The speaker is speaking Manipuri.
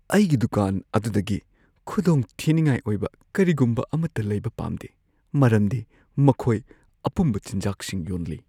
ꯑꯩꯒꯤ ꯗꯨꯀꯥꯟ ꯑꯗꯨꯗꯒꯤ ꯈꯨꯗꯣꯡꯊꯤꯅꯤꯡꯉꯥꯏ ꯑꯣꯏꯕ ꯀꯔꯤꯒꯨꯝꯕ ꯑꯃꯠꯇ ꯂꯩꯕ ꯄꯥꯝꯗꯦ ꯃꯔꯝꯗꯤ ꯃꯈꯣꯏ ꯑꯄꯨꯝꯕ ꯆꯤꯟꯖꯥꯛꯁꯤꯡ ꯌꯣꯟꯂꯤ꯫